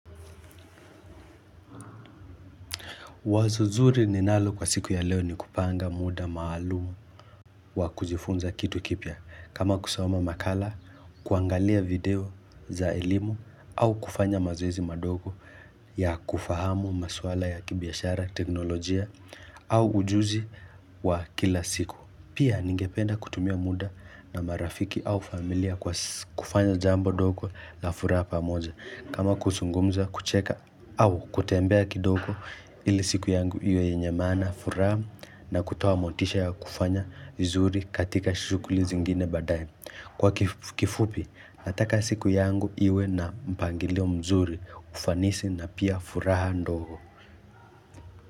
Wazo zuri ninalo kwa siku ya leo ni kupanga muda maalumu wa kujifunza kitu kipya kama kusoma makala, kuangalia video za elimu au kufanya mazoezi madogo ya kufahamu maswala ya kibiashara, teknolojia au ujuzi wa kila siku. Pia ningependa kutumia muda na marafiki au familia kwa kufanya jambo dogo la furaha pa moja kama kusungumza kucheka au kutembea kidoko ili siku yangu iwe yenye mana furaha na kutoa motisha ya kufanya vizuri katika shukuli zingine badae Kwa kifupi nataka siku yangu iwe na mpangilio mzuri ufanisi na pia furaha ndogo.